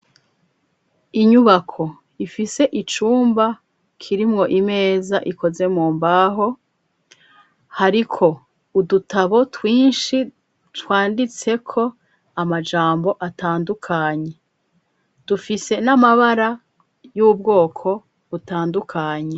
Inyubako ifise icumba kirimwo imeza ikoze mu mbaho hariko udutabo twinshi twanditse ko amajambo atandukanye dufise n'amabara y'ubwoko butandukanye.